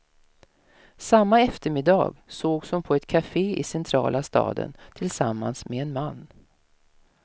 Samma eftermiddag sågs hon på ett kafé i centrala staden tillsammans med en man.